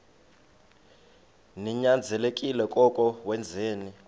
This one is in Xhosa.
ninyanzelekile koko wenzeni